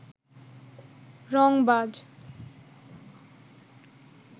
রংবাজ